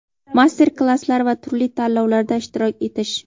master klasslar va turli tanlovlarda ishtirok etish.